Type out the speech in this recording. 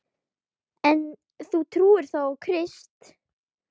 En þú trúir þó á Krist?